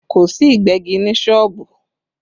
Kò sí Ìgbẹ́gi ní sọ́ọ̀bù